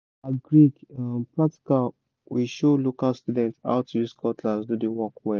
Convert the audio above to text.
for agric um practical we show local students how to use cutlass do the work well